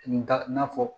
N ta na fɔ